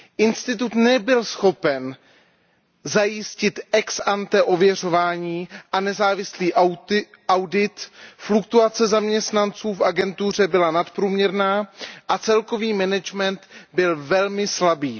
Institut nebyl schopen zajistit ex ante ověřování a nezávislý audit, fluktuace zaměstnanců v agentuře byla nadprůměrná a celkový management byl velmi slabý.